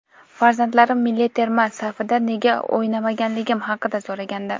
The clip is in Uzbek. Farzandlarim milliy terma safida nega o‘ynamaganligim haqida so‘ragandi.